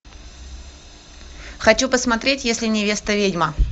хочу посмотреть если невеста ведьма